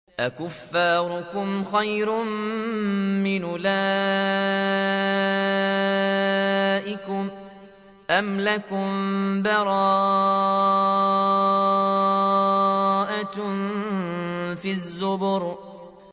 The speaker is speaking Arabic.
أَكُفَّارُكُمْ خَيْرٌ مِّنْ أُولَٰئِكُمْ أَمْ لَكُم بَرَاءَةٌ فِي الزُّبُرِ